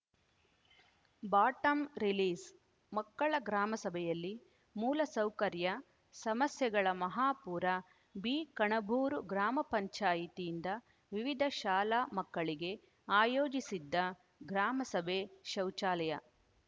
ಬಾಟಂರಿಲೀಸ್‌ಮಕ್ಕಳ ಗ್ರಾಮಸಭೆಯಲ್ಲಿ ಮೂಲಸೌಕರ್ಯ ಸಮಸ್ಯೆಗಳ ಮಹಾಪೂರ ಬಿಕಣಬೂರು ಗ್ರಾಮ ಪಂಚಾಯತಿಯಿಂದ ವಿವಿಧ ಶಾಲಾ ಮಕ್ಕಳಿಗೆ ಆಯೋಜಿಸಿದ್ದ ಗ್ರಾಮ ಸಭೆ ಶೌಚಾಲಯ